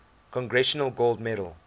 congressional gold medal